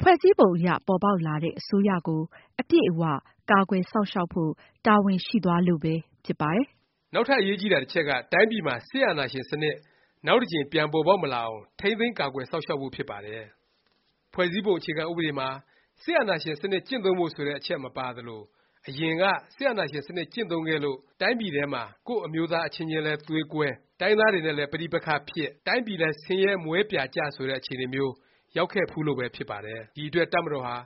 ဖွဲ့စည်းပုံအရ ပေါ်ပေါက်လာတဲ့ အစိုးရကို အပြည့်အ၀ ကာကွယ်စောင့်ရှောက်ဖို့ တာဝန်ရှိသွားလို့ပဲ ဖြစ်ပါတယ်။ နောက်ထပ် အရေးကြီးတာ တစ်ချက်က တိုင်းပြည်မှာ စစ်အာဏာရှင်စနစ် နောက်တစ်ကြိမ် ပြန်ပေါ်ပေါက်မလာအောင် ထိန်းသိမ်းကာကွယ် စောင့်ရှောက်ဖို့ ဖြစ်ပါတယ်။ ဖွဲ့စည်းပုံ အခြေခံဥပဒေမှာ စစ်အာဏာရှင်စနစ် ကျင့်သုံးဖို့ ဆိုတဲ့ အချက် မပါသလို၊ အရင်က စစ်အာဏာရှင် စနစ် ကျင့်သုံးခဲ့လို့ တိုင်းပြည်ထဲမှာ ကိုယ့်အမျိုးသား အချင်းချင်းလဲ သွေးကွဲ၊ တိုင်းရင်းသားတွေနဲ့လည်း ပဋိပက္ခဖြစ်၊ တိုင်းပြည်လဲ ဆင်းရဲမွဲပြာကျ ဆိုတဲ့ အခြေအနေမျိုး ရောက်ခဲ့ဖူးလို့ပဲ ဖြစ်ပါတယ်။ ဒီအတွက် တပ်မတော်ဟာ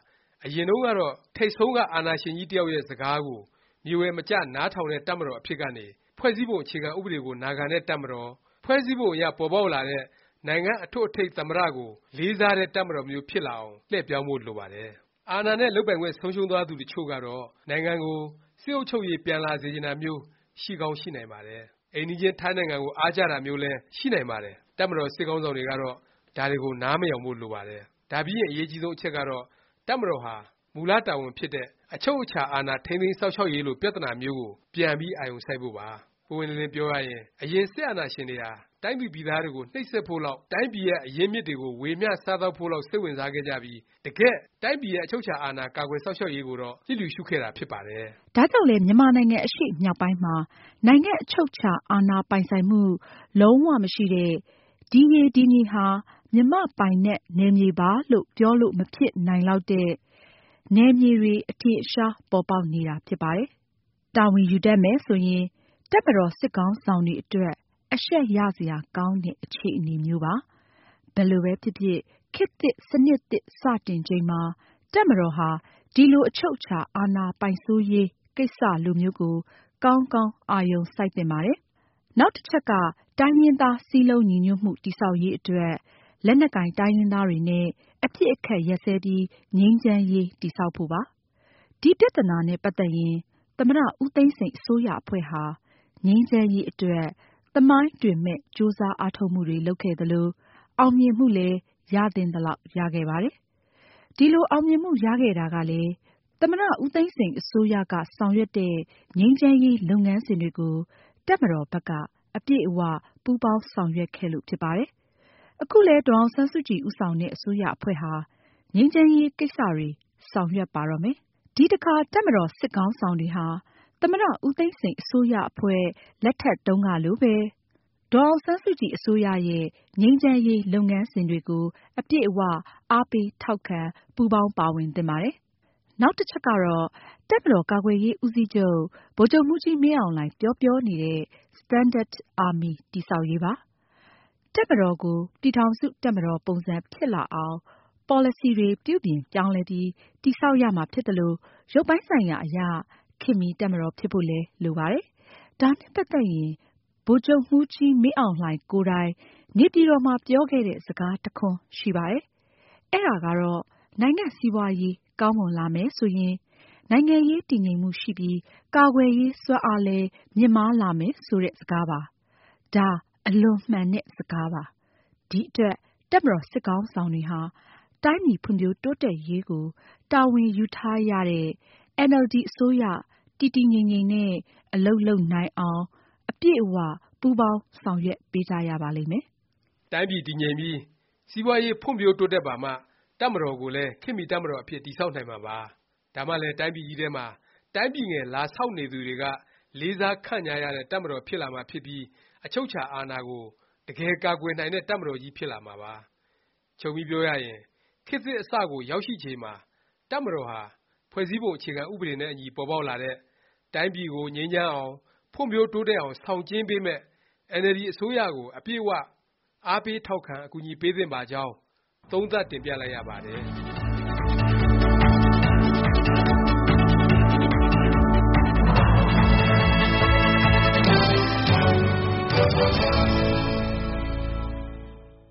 အရင်တုန်းကတော့ ထိပ်ဆုံးက အာဏာရှင်ကြီး တစ်ယောက်ရဲ့ စကားကို မြေဝယ်မကျ နားထောင်တဲ့ တပ်မတော် အဖြစ်ကနေ ဖွဲ့စည်းပုံ အခြေခံဥပဒေကို နာခံတဲ့ တပ်မတော်၊ ဖွဲ့စည်းပုံအရ ပေါ်ပေါက်လာတဲ့ နိုင်ငံ့ အထွဋ်အထိပ် သမ္မတ ကို လေးစားတဲ့ တပ်မတော်မျိုး ဖြစ်လာအောင် လှည့်ပြောင်းဖို့ လိုပါတယ်။ တစ်ချို့သော အာဏာနဲ့ လုပ်ပိုင်ခွင့် ဆုံးရှုံးသွားသူတွေကတော့ နိုင်ငံကို စစ်အုပ်ချုပ်ရေး ပြန်လာစေချင်တာမျိုး ရှိကောင်း ရှိနိုင်ပါတယ်။ အိမ်နီးချင်း ထိုင်းနိုင်ငံကို အားကျတာမျိုးလည်း ရှိနိုင်ပါတယ်။ တပ်မတော် စစ်ခေါင်းဆောင်တွေကတော့ ဒါတွေကို နားမယောင်ဖို့ လိုပါတယ်။ ဒါပြီးရင် အရေးအကြီးဆုံး အချက်ကတော့ တပ်မတော်ဟာ မူလ တာဝန်ဖြစ်တဲ့ အချုပ်အခြာ အာဏာထိမ်းသိမ်းစောင့်ရှောက်ရေးလို ပြသနာမျိုးကို ပြန်ပြီး အာရုံစိုက်ဖို့ပါ။ ပွင့်ပွင့်လင်းလင်း ပြောရရင် အရင် စစ်အာဏာရှင်တွေဟာ တိုင်းသူပြည်သားတွေကို နှိပ်စက်ဖို့လောက်၊ တိုင်းပြည်ရဲ့ အရင်းအမြစ်တွေကို ဝေမျှစားသောက်ဖို့လောက် စိတ်ဝင်စားခဲ့ကြပြီး တကယ့် တိုင်းပြည်ရဲ့ အချုပ်အခြာ အာဏာ ကာကွယ်စောင့်ရှောက်ရေးကိုတော့ လျစ်လျူရှုခဲ့တာ ဖြစ်ပါတယ်။ ဒါကြောင့်လည်း မြန်မာနိုင်ငံ အရှေ့မြောက်ပိုင်းမှာ နိုင်ငံ့အချုပ်အခြာအာဏာ ပိုင်စိုးမှု လုံး၀ မရှိတဲ့၊ ဒီရေ၊ ဒီမြေဟာ မြန်မာ့ပိုင်နက် နယ်မြေပါလို့ ပြောလို့ မဖြစ်နိုင်လောက်တဲ့ နယ်မြေတွေ အထင်အရှား ပေါ်ပေါက်နေတာ ဖြစ်ပါတယ်။ တာဝန်ယူတတ်မယ် ဆိုရင် တပ်မတော်စစ်ခေါင်းဆောင်တွေ အတွက် အရှက်ရစရာ ကောင်းတဲ့ အခြေအနေမျိုးပါ။ ဘယ်လိုပဲဖြစ်ဖြစ် ခေတ်သစ် စနစ်သစ် စတင်ချိန်မှာ တပ်မတော်ဟာ ဒီလို အချုပ်အခြာအာဏာ ပိုင်စိုးရေး ကိစ္စလိုမျိုးကို ကောင်းကောင်း အာရုံစိုက်သင့်ပါတယ်။ နောက်တစ်ချက်က တိုင်းရင်းသား စည်းလုံးညီညွတ်မှု တည်ဆောက်ရေး အတွက် လက်နက်ကိုင် တိုင်းရင်းသားတွေနဲ့ အပစ်အခတ် ရပ်စဲပြီး ငြိမ်းချမ်းရေး တည်ဆောက်ဖို့ပါ။ ဒီ ပြသနာနဲ့ ပတ်သက်ရင် သမ္မတ ဦးသိန်းစိန် အစိုးရအဖွဲ့ဟာ ငြိမ်းချမ်းရေး အတွက် သမိုင်းတွင်မယ့် ကြိုးစား အားထုတ်မှုတွေ လုပ်ခဲ့သလို၊ အောင်မြင်မှုလည်း ရသင့်သလောက် ရခဲ့ပါတယ်။ ဒီလို အောင်မြင်မှု ရခဲ့တာကလည်း သမ္မတ ဦးသိန်းစိန် အစိုးရက ဆောင်ရွက်တဲ့ ငြိမ်းချမ်းရေး လုပ်ငန်းစဉ်တွေကို တပ်မတော်ဘက်က အပြည့်အ၀ ပူးပေါင်းဆောင်ရွက်ခဲ့လို့ ဖြစ်ပါတယ်။ အခုလည်း ဒေါ်အောင်ဆန်းစုကြည် ဦးဆောင်တဲ့ အစိုးရအဖွဲ့ဟာ ငြိမ်းချမ်းရေး ကိစ္စတွေ ဆောင်ရွက်ပါတော့မယ်။ ဒီအခါ တပ်မတော် စစ်ခေါင်းဆောင်တွေဟာ သမ္မတ ဦးသိန်းစိန် အစိုးရအဖွဲ့လက်ထက်တုန်းကလိုပဲ ဒေါ်အောင်ဆန်းစုကြည် အစိုးရရဲ့ ငြိမ်းချမ်းရေး လုပ်ငန်းစဉ်တွေကို အပြည့်အ၀ အားပေးထောက်ခံ ပူးပေါင်းပါဝင်သင့်ပါတယ်။ နောက်တစ်ချက်ကတော့ တပ်မတော်ကာကွယ်ရေး ဦးစီးချုပ် ဗိုလ်ချုပ်မှူးကြီးမင်းအောင်လှိုင် ပြောပြောနေတဲ့ Standard Army တည်ဆောက်ရေးပါ။ တပ်မတော်ကို ပြည်ထောင်စု တပ်မတော် ပုံစံ ဖြစ်လာအောင် ပေါ်လစီတွေ ပြုပြင်ပြောင်းလဲပြီး တည်ဆောက်ရမှာဖြစ်သလို၊ ရုပ်ပိုင်းဆိုင်ရာအရ ခေတ်မီ တပ်မတော်ဖြစ်ဖို့လည်း လိုပါတယ်။ ဒါနဲ့ ပတ်သက်ရင် ဗိုလ်ချုပ်မှူးကြီး မင်းအောင်လှိုင်ကိုယ်တိုင် နေပြည်တော်မှာ ပြောခဲ့တဲ့ စကား တစ်ခွန်းရှိပါတယ်။ အဲဒါကတော့ နိုင်ငံ့စီးပွားရေး ကောင်းမွန်လာမယ် ဆိုရင် နိုင်ငံရေး တည်ငြိမ်မှု ရှိပြီး၊ ကာကွယ်ရေး စွမ်းအားလည်း မြင့်မားလာမယ် ဆိုတဲ့ စကားပါ။ ဒါ အလွန်မှန်တဲ့ စကားပါ။ ဒီအတွက် တပ်မတော် စစ်ခေါင်းဆောင်တွေဟာ တိုင်းပြည်ဖွံ့ဖြိုးတိုးတက်ရေးကို တာဝန်ယူထားရတဲ့ အင်န်အယ်လ်ဒီ အစိုးရ တည်တည်ငြိမ်ငြိမ်နဲ့ အလုပ်လုပ်နိုင်အောင် အပြည့်အ၀ ပူးပေါင်းဆောင်ရွက်ပေးကြရပါလိမ့်မယ်။ တိုင်းပြည်တည်ငြိမ်ပြီး စီးပွားရေး ဖွံ့ဖြိုးတိုးတက်ပါမှ တပ်မတော်ကိုလည်း ခေတ်မီတပ်မတော် အဖြစ် တည်ဆောက်နိုင်မှာပါ။ ဒါမှလည်း တိုင်းပြည်ကြီးထဲမှာ တိုင်းပြည်ငယ် လာဆောက်နေသူတွေက လေးစားခန့်ညားရတဲ့ တပ်မတော် ဖြစ်လာမှာဖြစ်ပြီး အချုပ်အခြာအာဏာကို တကယ်ကာကွယ်နိုင်မယ့် တပ်မတော်ကြီး ဖြစ်လာမှာပါ။ ခြုံပြီးပြောရရင် ခေတ်သစ် အစကို ရောက်ရှိချိန်မှာ တပ်မတော်ဟာ ဖွဲ့စည်းပုံ အခြေခံ ဥပဒေနဲ့အညီ ပေါ်ပေါက်လာတဲ့၊ တိုင်းပြည်ကို ငြိမ်းချမ်းအောင်၊ ဖွံ့ဖြိုးတိုးတက်အောင် ဆောင်ကျဉ်းပေးမယ့် အင်န်အယ်လ်ဒီ အစိုးရကို အပြည့်အ၀ အားပေးထောက်ခံ၊ အကူအညီ ပေးသင့်ပါကြောင်း သုံးသပ်တင်ပြလိုက်ရပါတယ်။